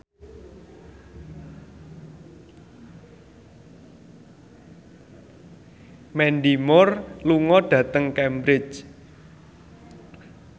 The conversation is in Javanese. Mandy Moore lunga dhateng Cambridge